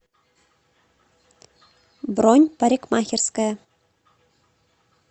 бронь парикмахерская